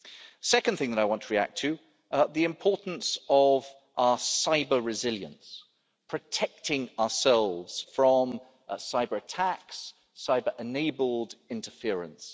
The second thing that I want to react to the importance of our cyber resilience, protecting ourselves from cyber attacks, cyber enabled interference.